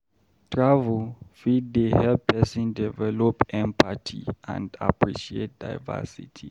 Travel fit dey help pesin develop empathy and appreciate diversity